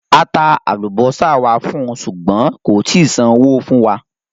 A tà alúbọ̀sà wà fún u, ṣúgbọ̀n kò tìí sànwò̩ fún wa.